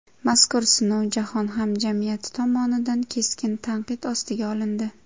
Mazkur sinov jahon hamjamiyati tomonidan keskin tanqid ostiga olindi.